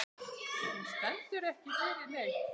Hún stendur ekki fyrir neitt.